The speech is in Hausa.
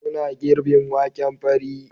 Suna girbin waken fari